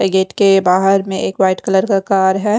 Gate के बाहर में एक व्हाइट कलर का कार है।